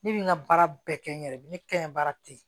Ne bɛ n ka baara bɛɛ kɛ n yɛrɛ ye ni ne ka ɲi baara tɛ ye